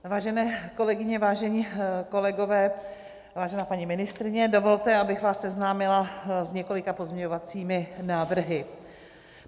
Vážené kolegyně, vážení kolegové, vážená paní ministryně, dovolte, abych vás seznámila s několika pozměňovacími návrhy.